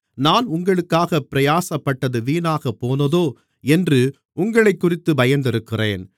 நான் உங்களுக்காகப் பிரயாசப்பட்டது வீணாகப் போனதோ என்று உங்களைக்குறித்துப் பயந்திருக்கிறேன்